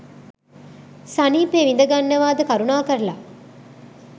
සනීපේ විඳ ගන්නවාද කරුණාකරලා